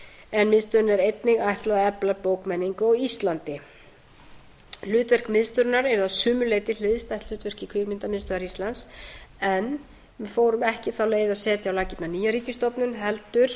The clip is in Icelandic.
en miðstöðinni er einnig ætlað að efla bókmenningu á íslandi hlutverk miðstöðvarinnar er að sumu leyti hliðstætt hlutverki kvikmyndamiðstöðvar íslands en við fórum ekki þá leið að setja á laggirnar nýja ríkisstofnun heldur